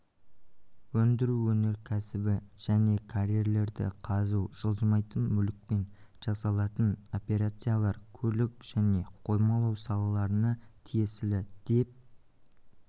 өндіру өнеркәсібі және карьерлерді қазу жылжымайтын мүлікпен жасалатын операциялар көлік және коймалау салаларына тиесілі деп